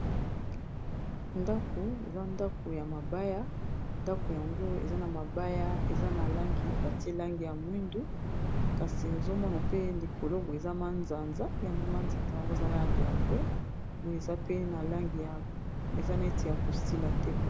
Ndako eza ndako ya mabaya ndako yango eza na mabaya eza na langi batie langi ya mwindu kasi ozomona pe likolo boye eza manzanza yango manzanza yango ezala langi ya mbwe boye eza pe na langi ya eza neti ya kosila te.